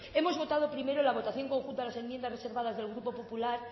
hemos votado primero la votación conjunta a las enmiendas reservadas del grupo popular